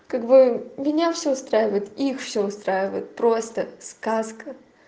как бы меня всё устраивает их всё устраивает просто сказка